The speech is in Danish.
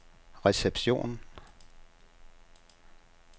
reception